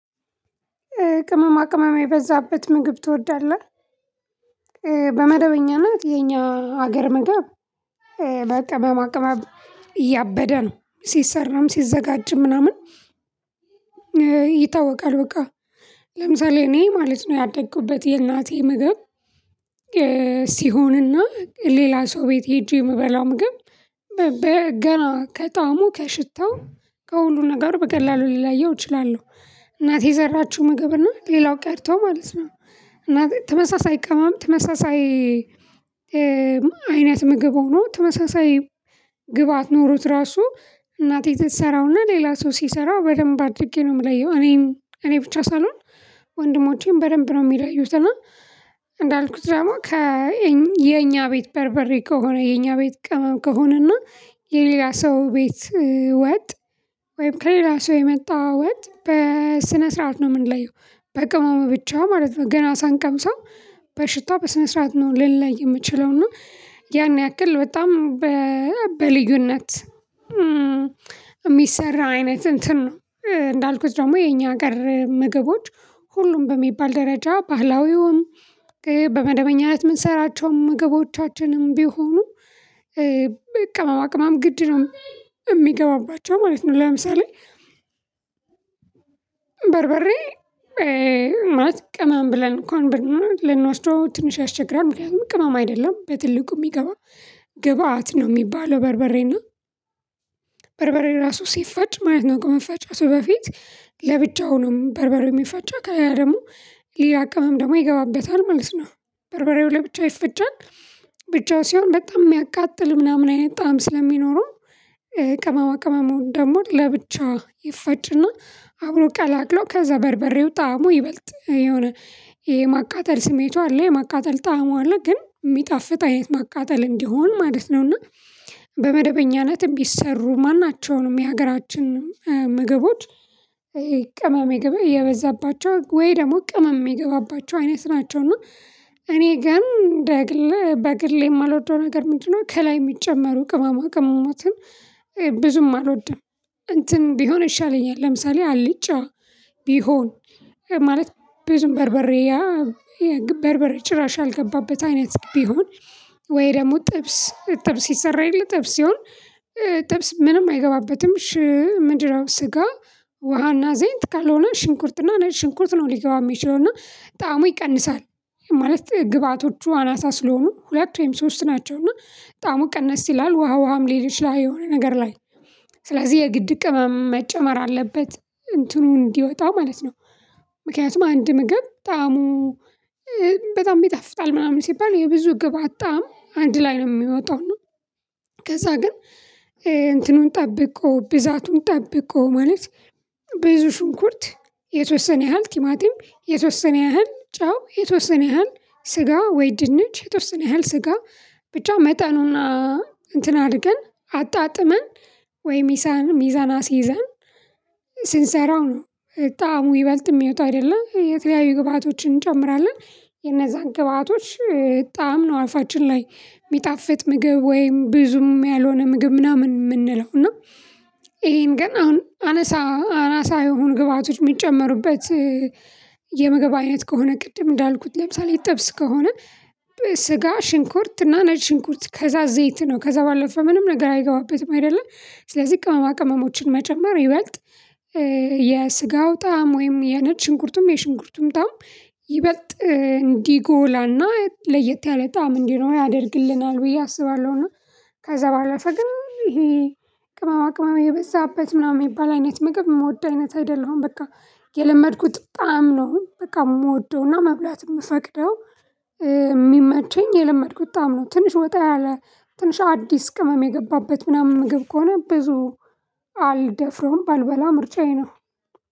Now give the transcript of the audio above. ቅመማ ቅመማ የበዛበት ምግብ ትወዳለህ? በመደበኛና የኛ ሀገር ምግብ። በቅመማ ቅመም ያበደ ነው ሲሰራም ሲዘጋጅም ምናምን። ይታወቃል በቃ ለምሳሌ እኔ ማለት ነው ያደግኩበት የእናቴ ምግብ። ሲሆንና ሌላ ሰው ቤት ሄጄ የምበላው ምግብ በገና ከጣሙ ከሽታው ከሁሉ ነገር በቀላሉ ሊለያየው እችላለሁ። እናቴ የሰራችው ምግብ እና ሌላው ቀርቶ ማለት ነው። እናቴ ተመሳሳይ ቀማም ተመሳሳይ አይነት ምግብ ሆኖ ተመሳሳይ ግብአት ኖሮት ራሱ እናቴ ስሰራውና ሌላ ሰው ሲሰራ በደንብ አድርጌ ነው የምለየው እኔም እኔ ብቻ ሳልሆን። ወንድሞቼን በደንብ ነው የሚለዩት። እና እንዳልኩት ደግሞ ከ የኛ ቤት በርበሬ ከሆነ የኛ ቤት ቀመም ከሆነ እና የሌላ ሰው ቤት ወጥ ወይም ከሌላ ሰው የመጣው ወጥ በስነ ስርዓት ነው የምንለየው። በቅመሙ ብቻው ማለት ነው ገና ሳንቀምሰው በሽታው በስነ ስርዓት ነው ልንለይ የምችለው። እና ያን ያክል በጣም በልዩነት የሚሰራ አይነት እንትን ነው። እንዳልኩት ደግሞ የኛ ሀገር ምግቦች ሁሉም በሚባል ደረጃ ባህላዊውም በመደበኛም የምንሰራቸውን ምግቦቻችንም ቢሆኑ ቅመማ ቅመም ግድ ነው የሚገባባቸው ማለት ነው። ለምሳሌ በርበሬ ቅመም ብለን እንኳን ብንወስደው ትንሽ ያስቸግራል። ምክንያቱም ቅመም አይደለም በትልቁ የሚገባ ግብአት ነው የሚባለው። በርበሬና በርበሬ ራሱ ሲፈጭ ማለት ነው። ከመፍጨቱ በፊት ለብቻው ነው በርበሬ የሚፋጫ ከዛ ደግሞ ሌላ ቅመም ደግሞ ይገባበታል ማለት ነው በርበሬው ላብቻ ይፈጫል። ብቻው ሲሆን በጣም የሚያቃጥል ምናምን አይነት ጣዕም ስለሚኖረው ቅመማ ቅመሙ ደግሞ ለብቻዋ ይፋጭና አብሮ ቀላቅሎ ከዛ በርበሬው ጣዕሙ ይበልጥ የሆነ የማቃጠል ስሜቱ አለ የማቃጠል ጣዕሙ አለ ግን የሚጣፍጥ አይነት ማቃጠል እንዲሆን ማለት ነው። እና በመደበኛነትም ቢሰሩ ማናቸውንም የሀገራችን ምግቦች ቅመም ይገባ የበዛባቸው ወይ ደግሞ ቅመም የሚገባባቸው አይነት ናቸው። እና እኔ ግን በግል የማልወደው ነገር ምንድነው ከላይ የሚጨመሩ ቅማማ ቅመማትን ብዙም አልወድም። እንትን ቢሆን ይሻለኛል ለምሳሌ አልጫ ቢሆን ማለት ብዙ በርበሬ ያ በርበሬ ጭራሽ ያልገባበት አይነት ቢሆን። ወይ ደግሞ ጥብስ ጥብስ ሲሰራ የለ ጥብስ ሲሆን። ጥብስ ምንም አይገባበትም ሽ ምንድን ነው ስጋ ውሃና ዘይት ካልሆነ ሽንኩርትና ነጭ ሽንኩርት ነው ሊገባ የሚችለው እና ጣዕሙ ይቀንሳል። ማለት ግብአቶቹ አናሳ ስለሆኑ ሁለት ወይም ሶስት ናቸው እና ጣዕሙ ቀነስ ይላል ውሃ ውሃም ሊል ይችላል። የሆነ ነገር ላይ ስለዚህ የግድ ቅመም መጨመር አለበት እንትኑ እንዲወጣው ማለት ነው። ምክንያቱም አንድ ምግብ ጣዕሙ በጣም ቢጣፍጣል ምናምን ሲባል የብዙ ግብአት ጣዕም አንድ ላይ ነው የሚወጣው ነው። ከዛ ግን እንትኑን ጠብቆ ቢዛቱን ጠብቆ ማለት ብዙ ሽንኩርት የተወሰነ ያህል ቲማቲም የተወሰነ ያህል ጫው የተወሰነ ያህል ስጋ ወይ ድንች የተወሰነ ያህል ስጋ ብቻ መጠኑን እንትን አርገን አጣጥመን ወይ ሚሳን ሚዛን አስይዘን ስንሰራው ነው። ጣዕሙ ይበልጥ ምወጣው አይደለም የተለያዩ ግብአቶችን እንጨምራለን። የነዛን ግብአቶች ጣዕም ነው አፋችን ላይ ሚጣፍጥ ምግብ ወይም ብዙም ያልሆነ ምግብ ምናምን የምንለው እና። ይሄን ግን አሁን አነሳ አናሳ የሆኑ ግብአቶች የሚጨመሩበት የምግብ አይነት ከሆነ ቅድም እንዳልኩት ለምሳሌ ጥብስ ከሆነ። ስጋ ሽንኮርት እና ነጭ ሽንኮርት ከዛ ዘይት ነው ከዛ ባለፈ ምንም ነገር አይገባበትም አይደለ። ስለዚህ ቅመማ ቅመሞችን መጨመር ይበልጥ የስጋው ጣዕም ወይም የነጭ ሽንኩርቱም የሽንኩርቱም ጣዕም ይበልጥ እንዲጎላና ለየት ያለ ጣዕም እንድኖረው ያደርግልናል ብዬ አስባለሁ። እና ከዛ በኋላ ግን ይሄ ቅማማ ቅማማ የበዛበት ምናምን የሚባል አይነት ምግብ የምወድ አይነት አይደለም። በቃ የለመድኩት ጣዕም ነው። በቃ የምወደውና መብላት የምፈቅደው። የሚመቸኝ የለመድኩት ጣዕም ትንሽ ወጣ ያለ ትንሽ አዲስ ቅመም የገባበት ምናምን ምግብ ከሆነ ብዙ አልደፍረውም ባልበላ ምርጫዬ ነው።